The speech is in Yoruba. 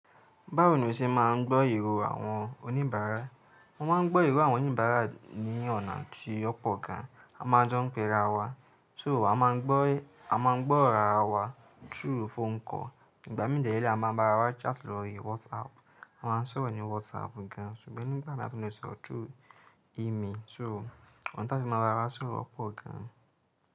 Báwo ni o ṣe máa ń gbọ́ ìró àwọn oníbàárà? Mó máa ń gbọ́ ìró àwọn oníbàárà ní ọ̀nà tí ó pọ̀ gan. A máa jọ ń pe ara wa, so a máa ń gbọ́, a máa ń gbọ́ ara wa through phone call. Ìgbà mìí dè ré ní a máa ń bá ara wa chat lórí WhatsApp. A máa ń sọ̀rọ̀ ní WhatsApp gan, ṣùgbọ́n nígbà mìíràn a tún lè sọ through email. So ònà táí fi máa ń bá wa ra sọ̀rọ̀ pọ̀ gan.